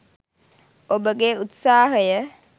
ඔබගේ උත්සාහය